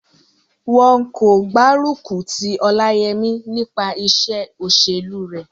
Wọn kò gbárùkù ti Ọláyẹmí nípa iṣẹ́ òṣèlú rẹ̀